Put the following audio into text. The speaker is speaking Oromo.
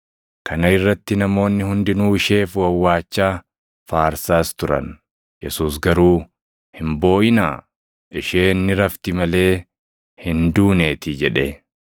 Kana irratti namoonni hundinuu isheef wawwaachaa, faarsaas turan. Yesuus garuu, “Hin booʼinaa; isheen ni rafti malee hin duuneetii” jedhe.